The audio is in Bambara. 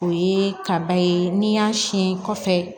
O ye kaba ye n'i y'a sin kɔfɛ